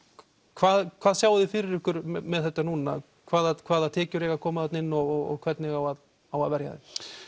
hvað hvað sjáið þið fyrir ykkur með þetta núna hvaða hvaða tekjur eiga að koma þarna inn og hvernig á að á að verja þessu